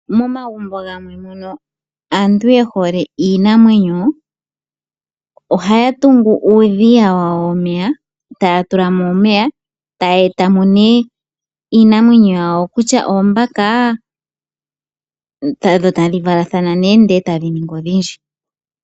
Momagumbo gamwe mono aantu ye hole iinamwenyo ohaya tungu uundama wawo womeya etaya tulamo nee iinamwenyo yawo ngaashi oombaka dho tadhi valathana etadhi ningi odhindji.